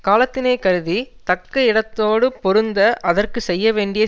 காலத்தினை கருதி தக்க இடத்தோடு பொருந்த அதற்கு செய்யவேண்டிய